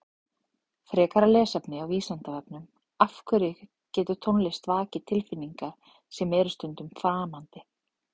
Frekara lesefni á Vísindavefnum Af hverju getur tónlist vakið tilfinningar sem eru stundum framandi?